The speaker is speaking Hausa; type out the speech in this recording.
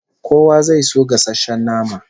Kowa zai so gasasshen nama